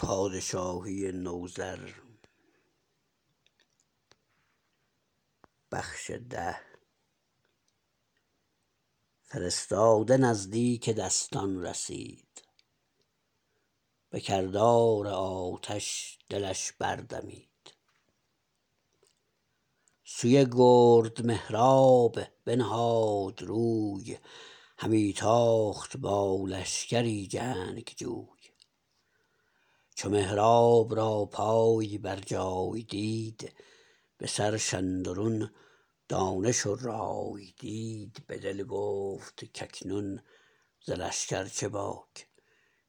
فرستاده نزدیک دستان رسید به کردار آتش دلش بردمید سوی گرد مهراب بنهاد روی همی تاخت با لشکری جنگجوی چو مهراب را پای بر جای دید به سرش اندرون دانش و رای دید به دل گفت کاکنون ز لشکر چه باک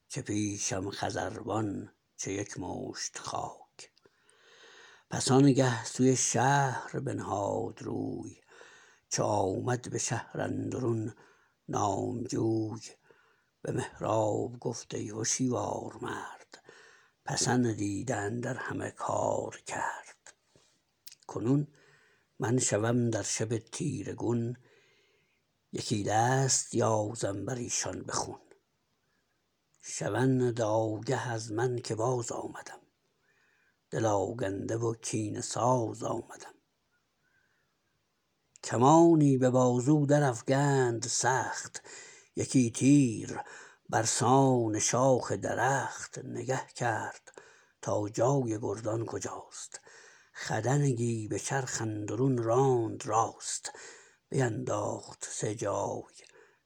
چه پیشم خزروان چه یک مشت خاک پس آنگه سوی شهر بنهاد روی چو آمد به شهر اندرون نامجوی به مهراب گفت ای هشیوار مرد پسندیده اندر همه کارکرد کنون من شوم در شب تیره گون یکی دست یازم بریشان به خون شوند آگه از من که بازآمدم دل آگنده و کینه ساز آمدم کمانی به بازو در افگند سخت یکی تیر برسان شاخ درخت نگه کرد تا جای گردان کجاست خدنگی به چرخ اندرون راند راست بینداخت سه جای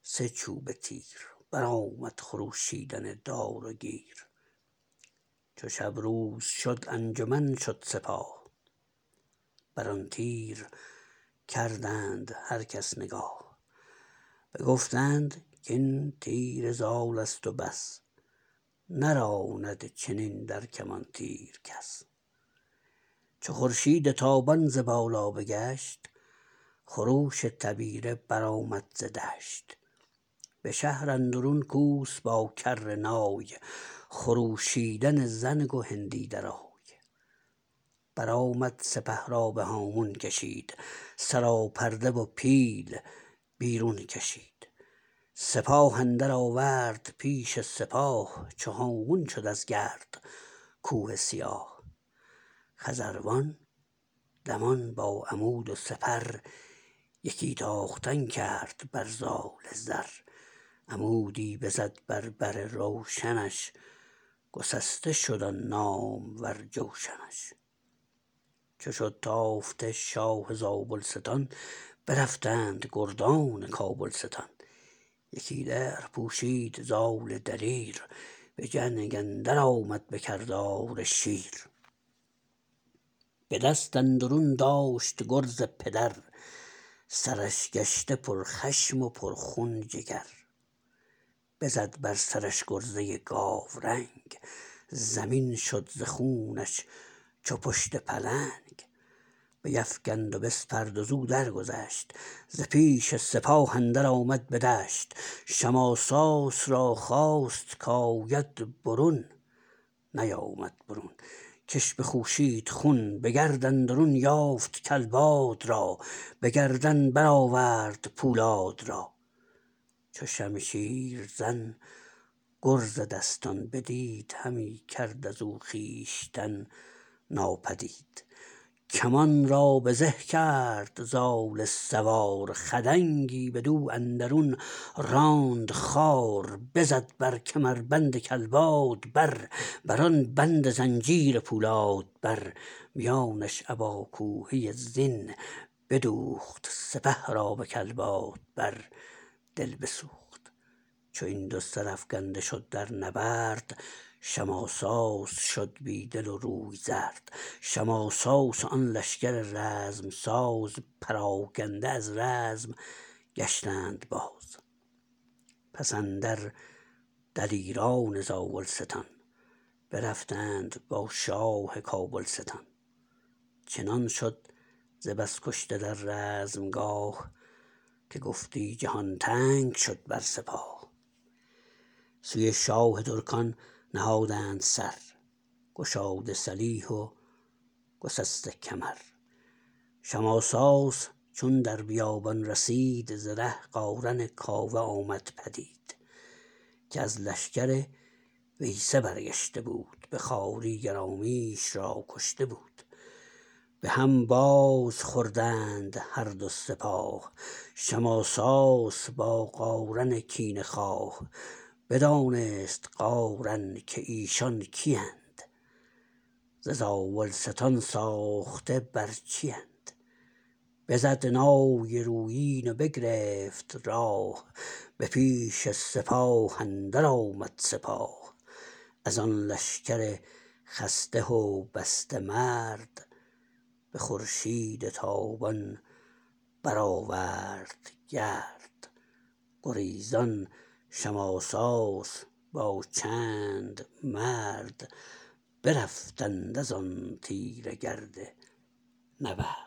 سه چوبه تیر برآمد خروشیدن دار و گیر چو شب روز شد انجمن شد سپاه بران تیر کردند هر کس نگاه بگفتند کاین تیر زالست و بس نراند چنین در کمان تیر کس چو خورشید تابان ز بالا بگشت خروش تبیره برآمد ز دشت به شهر اندرون کوس با کرنای خروشیدن زنگ و هندی درای برآمد سپه را به هامون کشید سراپرده و پیل بیرون کشید سپاه اندرآورد پیش سپاه چو هامون شد از گرد کوه سیاه خزروان دمان با عمود و سپر یکی تاختن کرد بر زال زر عمودی بزد بر بر روشنش گسسته شد آن نامور جوشنش چو شد تافته شاه زابلستان برفتند گردان کابلستان یکی درع پوشید زال دلیر به جنگ اندر آمد به کردار شیر به دست اندرون داشت گرز پدر سرش گشته پر خشم و پر خون جگر بزد بر سرش گرزه گاورنگ زمین شد ز خونش چو پشت پلنگ بیفگند و بسپرد و زو درگذشت ز پیش سپاه اندر آمد به دشت شماساس را خواست کاید برون نیامد برون کش بخوشید خون به گرد اندرون یافت کلباد را به گردن برآورد پولاد را چو شمشیرزن گرز دستان بدید همی کرد ازو خویشتن ناپدید کمان را به زه کرد زال سوار خدنگی بدو اندرون راند خوار بزد بر کمربند کلباد بر بران بند زنجیر پولاد بر میانش ابا کوهه زین بدوخت سپه را به کلباد بر دل بسوخت چو این دو سرافگنده شد در نبرد شماساس شد بی دل و روی زرد شماساس و آن لشکر رزم ساز پراگنده از رزم گشتند باز پس اندر دلیران زاولستان برفتند با شاه کابلستان چنان شد ز بس کشته در رزمگاه که گفتی جهان تنگ شد بر سپاه سوی شاه ترکان نهادند سر گشاده سلیح و گسسته کمر شماساس چون در بیابان رسید ز ره قارن کاوه آمد پدید که از لشکر ویسه برگشته بود به خواری گرامیش را کشته بود به هم بازخوردند هر دو سپاه شماساس با قارن کینه خواه بدانست قارن که ایشان کیند ز زاولستان ساخته بر چیند بزد نای رویین و بگرفت راه به پیش سپاه اندر آمد سپاه ازان لشکر خسته و بسته مرد به خورشید تابان برآورد گرد گریزان شماساس با چند مرد برفتند ازان تیره گرد نبرد